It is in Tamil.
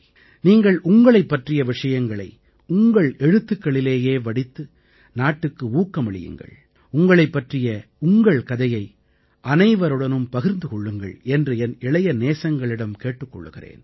நீங்கள் உங்களைப் பற்றிய விஷயங்களை உங்கள் எழுத்துக்களிலேயே வடித்து நாட்டுக்கு ஊக்கமளியுங்கள் உங்களைப் பற்றிய உங்கள் கதையை அனைவருடனும் பகிர்ந்து கொள்ளுங்கள் என்று என் இளைய நெஞ்சங்களிடம் கேட்டுக் கொள்கிறேன்